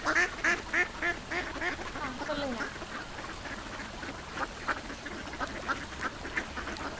hello ah okay mam செஞ்சிருவாங்க. நீங்க menu select பண்ணிட்டீங்களா mam?